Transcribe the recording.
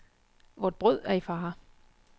Vort brød er i fare.